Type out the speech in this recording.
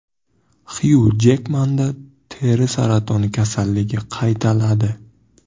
Xyu Jekmanda teri saratoni kasalligi qaytaladi.